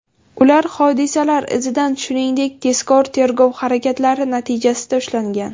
Ular hodisalar izidan, shuningdek, tezkor-tergov harakatlari natijasida ushlangan.